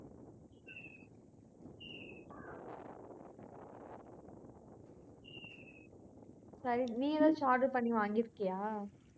சரி, நீ எதாவது order பண்ணி வாங்கிருக்கியா